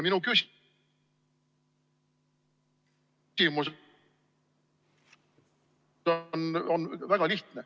Mu küsimus on väga lihtne ...